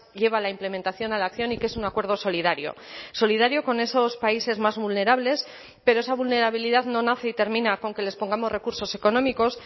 lleva la implementación a la acción y que es un acuerdo solidario solidario con esos países más vulnerables pero esa vulnerabilidad no nace y termina con que les pongamos recursos económicos